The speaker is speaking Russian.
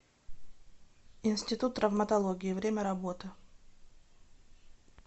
институт травматологии время работы